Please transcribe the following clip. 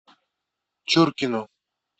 чуркину